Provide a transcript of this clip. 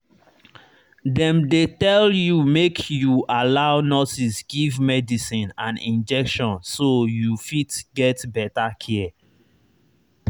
dem dey tell you make you allow nurses give medicine and injection so you fit get better care